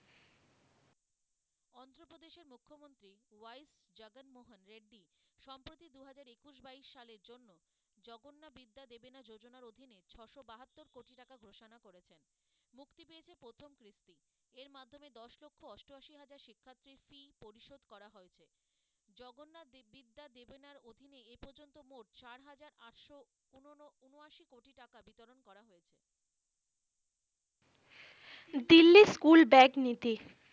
Delhi school bag নীতি ,